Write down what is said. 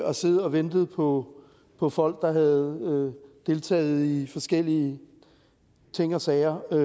og siddet og ventet på på folk der havde deltaget i forskellige ting og sager og